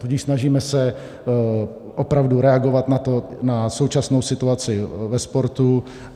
Tudíž se snažíme opravdu reagovat na současnou situaci ve sportu.